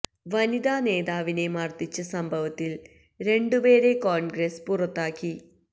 വനിതാ നേതാവിനെ മര്ദിച്ച സംഭവത്തില് രണ്ടു പേരെ കോണ്ഗ്രസ് പുറത്താക്കി